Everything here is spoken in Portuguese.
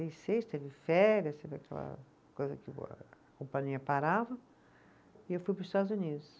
teve férias, teve aquela coisa que o a companhia parava, e eu fui para os Estados Unidos.